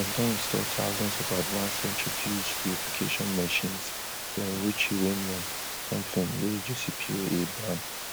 dem don install thousands of advanced centrifuge purification machines to enrich uranium somtin wey josipioe ban